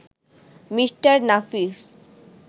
mister Nafis